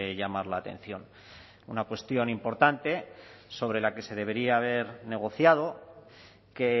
llamar la atención una cuestión importante sobre la que se debería haber negociado que